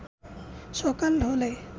সকাল হলে